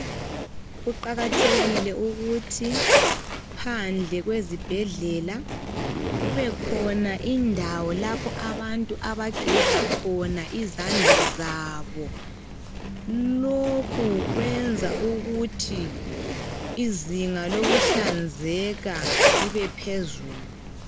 Kuqakathekile ukuthi phandle kwezibhedlela, kube khona indawo, lapha abantu abageza khona izandla zabo. Lokhu kwenza ukuthi izinga lokuhlanzeka libe phezulu